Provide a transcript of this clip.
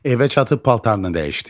Evə çatıb paltarını dəyişdi.